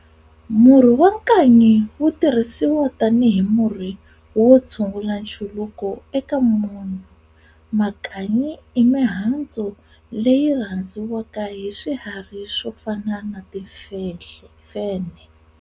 Murhi wa nkanyi wu tirhisiwa tanihi murhi wo tshungula nchuluko eka munhu. Makanyi I mihandzu leyi yi rhandziwaka hi swiharhi swo fana na timfenhe.